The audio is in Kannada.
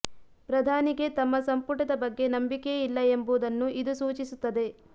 ಪ್ರಧಾನಿಗೆ ತಮ್ಮ ಸಂಪುಟದ ಬಗ್ಗೆ ನಂಬಿಕೆಯೇ ಇಲ್ಲ ಎಂಬುದನ್ನು ಇದು ಸೂಚಿಸುತ್ತದೆ